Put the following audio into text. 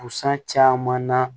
Busan caman na